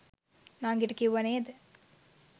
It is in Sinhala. නංගිට කිව්වා නේද